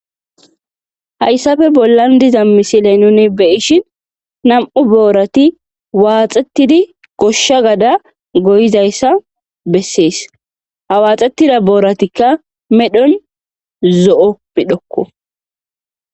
Hayssafe bollan diza misiley nuni beyishin nam'u boorati waaxettidi goshsha gada goyizayssa bessees hawaaxetida booratikka medhon zo7o midhokko.